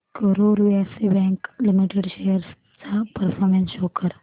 Karur Vysya bank limited shares चा performance show कर